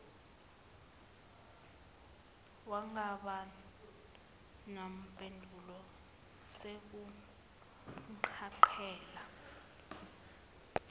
wangaba nampendulo sekumcacela